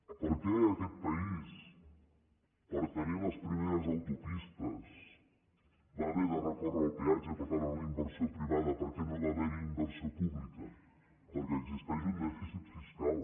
per què aquest país per tenir les primeres autopistes va haver de recórrer al peatge per tant a la inversió pri·vada perquè no va haver·hi inversió pública perquè existeix un dèficit fiscal